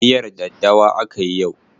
Miyar daddawa akayi yau.